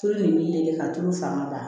Tulu nin bɛ ka tulu fanga ban